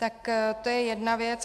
Tak to je jedna věc.